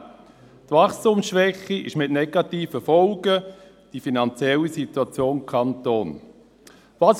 Die Wachstumsschwäche zeitigt negative Folgen für die finanzielle Situation des Kantons Bern.